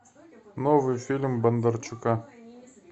новый фильм бондарчука